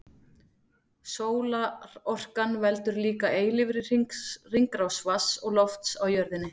Sólarorkan veldur líka eilífri hringrás vatns og lofts á jörðinni.